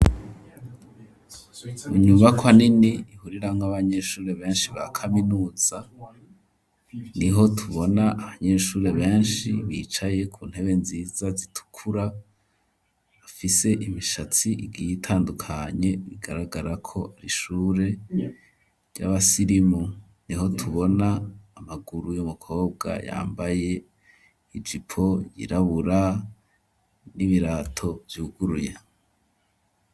Inyubakwa nini, ihuriramwo abanyeshure benshi ba kaminuza, niho tubona abanyeshure benshi, bicaye ku ntebe nziza zitukura, bafise imishatsi igiye itandukanye, bigaragara ko ari ishure ry'abasirimu; niho tubona amaguru y'umukobwa yambaye ijipo yirabura n'ibirato vyuguruye.